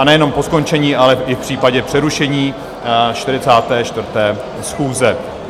A nejenom po skončení, ale i v případě přerušení 44. schůze.